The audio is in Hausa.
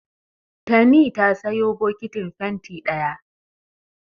Tani ta sayo bokitin fenti ɗaya.